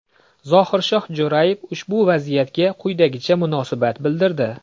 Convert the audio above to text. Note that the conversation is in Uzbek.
Zohirshoh Jo‘rayev ushbu vaziyatga quyidagicha munosabat bildirdi .